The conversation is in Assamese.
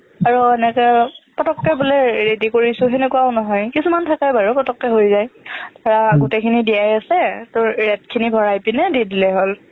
আৰু এনেকে পতককে বোলে ready কৰিছো সেনেকুৱাও নহয় কিছুমান থাকে বাৰু পতককে হৈ যায় ধৰা গোটেইখিনি দিয়াই আছে তোৰ rate খিনি ভৰাই পিনে দি দিলেই হ'ল